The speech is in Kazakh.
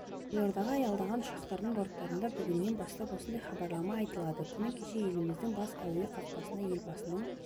елордаға аялдаған ұшақтардың борттарында бүгіннен бастап осындай хабарлама айтылады күні кеше еліміздің бас әуе қақпасына елбасының